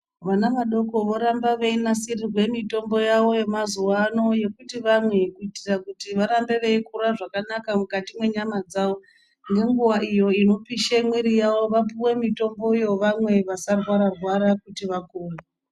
Vana vadoko voramba veinasirirwe mutombo yavo yemazuva ano yekuti vamwe. Kuitira kuti varambe veikura zvakanaka mukati mwenyama dzavo. Nenguva iyo inopishe mwiri yavo vapive mitomboyo vamwe vasarwara-rwara kuti vakunde.